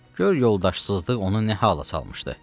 Gör yoldaşsızlıq onu nə hala salmışdı.